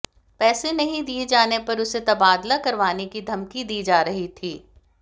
पैसे नहीं दिए जाने पर उसे तबादला करवाने की धमकी दी जा रही थी